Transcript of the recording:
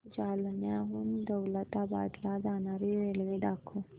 जालन्याहून दौलताबाद ला जाणारी रेल्वे दाखव